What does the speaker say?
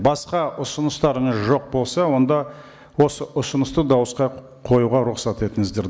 басқа ұысыныстарыңыз жоқ болса онда осы ұсынысты дауысқа қоюға рұқсат етіңіздер